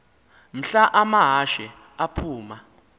mhla amahashe aphuma